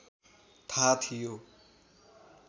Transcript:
थाहा थियो